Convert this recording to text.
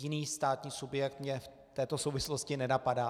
Jiný státní subjekt mě v této souvislosti nenapadá.